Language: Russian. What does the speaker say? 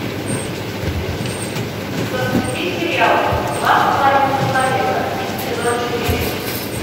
запусти сериал два с половиной человека сезон четыре